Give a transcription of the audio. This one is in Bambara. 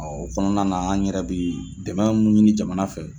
Ɔ kɔnɔna na an yɛrɛ bi dɛmɛ minnu ɲini jamana fɛ.